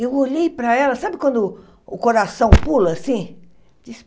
Eu olhei para ela, sabe quando o coração pula assim?